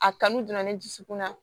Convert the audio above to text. A kanu donna ne dusukun na